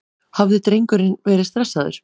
Hafði drengurinn verið stressaður?